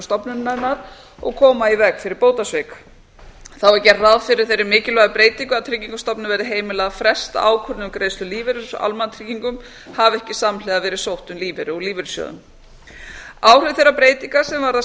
stofnunarinnar og koma í veg fyrir bótasvik þá er gerð ráð fyrir þeirri mikilvægu breytingu að tryggingastofnun verði heimilað að fresta ákvörðun um greiðslu lífeyris úr almannatryggingum hafi ekki samhliða verið sótt um lífeyri úr lífeyrissjóðum áhrif þeirra breytinga sem varða